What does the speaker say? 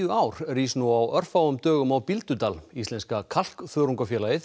ár rís nú á örfáum dögum á Bíldudal íslenska